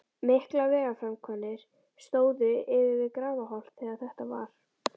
Miklar vegaframkvæmdir stóðu yfir við Grafarholt þegar þetta varð.